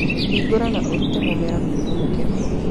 Hingũra na ũrute mũmera kuma mũkebe-inĩ.